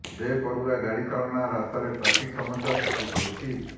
ବେପରୁଆ ଗାଡ଼ି ଚାଳନା ରାସ୍ତାରେ ଟ୍ରାଫିକ୍ ସମସ୍ୟା ସୃଷ୍ଟି କରୁଛି